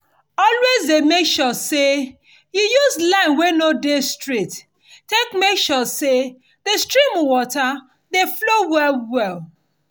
always dey make sure say you use line wey no dey straight take make sure say di stream water dey flow well well